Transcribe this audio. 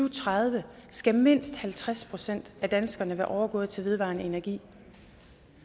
og tredive skal mindst halvtreds procent af danskerne være overgået til vedvarende energi